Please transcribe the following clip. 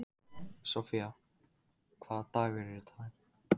Sophia, hvaða dagur er í dag?